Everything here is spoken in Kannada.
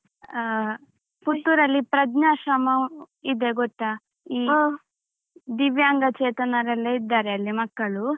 ಹ ಪುತ್ತೂರಲ್ಲಿ ಪ್ರಜ್ನಾಶ್ರಮ ಇದೆ ಗೊತ್ತಾ ಈ ದಿವ್ಯಾಂಗ ಚೇತನರೆಲ್ಲ ಇದ್ದಾರೆ ಅಲ್ಲಿ ಮಕ್ಕಳು.